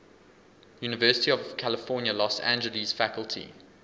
university of california los angeles faculty